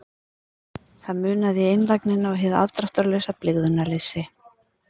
Það munaði í einlægnina og hið afdráttarlausa blygðunarleysi.